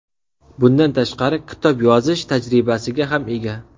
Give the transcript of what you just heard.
Bundan tashqari, kitob yozish tajribasiga ham ega”.